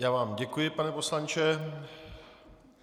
Já vám děkuji, pane poslanče.